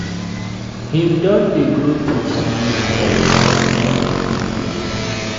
He don dey grow teeth small small, my fine pikin oo